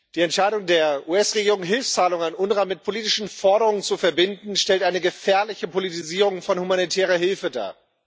Die Entscheidung der US Regierung, Hilfszahlungen an UNRWA mit politischen Forderungen zu verbinden, stellt eine gefährliche Politisierung von humanitärer Hilfe dar.